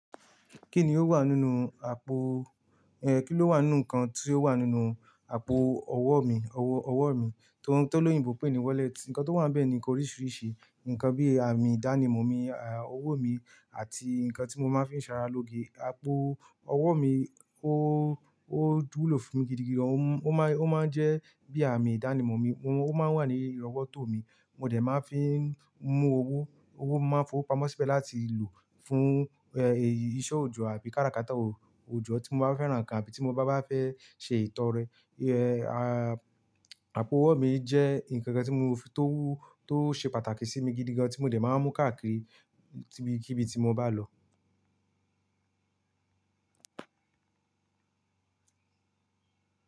Kí ni ó wà nínú àpò, eh, kí ló wà nínú ǹkan tí ó wà nínú àpò ọwọ́ mi, ọwọ́ mi tó lóyìnbó pè ní "wallet"? Ǹkan tó wà bẹ́ẹ̀ ni oríṣiríṣi ǹkan bí i àmì ìdánimọ̀ mi, àmì owó mi àti ǹkan tí mo máa ń fi ń ṣàrà lóge. Àpò ọwọ́ mi ó wulo fún mi gidigan, ó máa ń jẹ́ bí àmì ìdánimọ̀ mi, ó máa ń wà ní irọwọ́tó mi, mo dẹ̀ máa ń fi ń mú owó, owó máa ń fo pamọ́ síbẹ̀ láti lò fún, eh, iṣẹ́ òòjọ́ àbí kárakáta òòjọ́ tí mo bá fẹ́ràn kán àbí tí mo bá fẹ́ ṣe ìtọrẹ. Eh, àpò owó mi jẹ́ ǹkan kan tó ṣe pàtàkì sí mi gidigan tí mo dẹ̀ máa ń mú káàkiri sibikibi tí mo bá lọ.